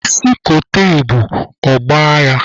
Isi kote ebu, ọ gbaa ya!